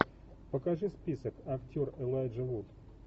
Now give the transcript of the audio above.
покажи список актер элайджа вуд